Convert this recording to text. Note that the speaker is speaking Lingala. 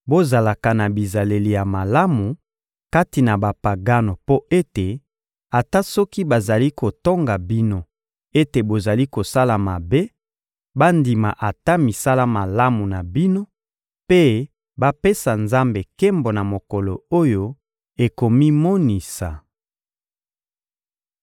Bozalaka na bizaleli ya malamu kati na Bapagano mpo ete, ata soki bazali kotonga bino ete bozali kosala mabe, bandima ata misala malamu na bino mpe bapesa Nzambe nkembo na mokolo oyo akomimonisa.